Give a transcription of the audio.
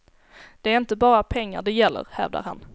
Det är inte bara pengar det gäller, hävdar han.